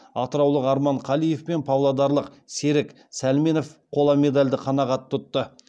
атыраулық арман қалиев пен павлодарлық серік сәлменов қола медальді қанағат тұтты